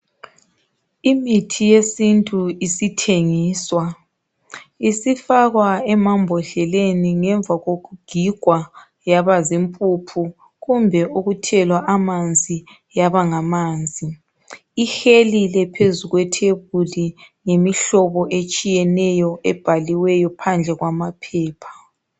Imithi yesintu isithengiswa isifakwa emambhodleleni ngemva kokugigwa yaba zimpuphu kumbe ukuthelwa amanzi yaba ngamanzi ihelile phezu kwetafula ngemihlobo etshiyeneyo ebhaliweyo phandle kwamaphepha.